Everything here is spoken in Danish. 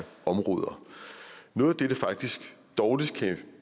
områder noget af det det faktisk dårligst kan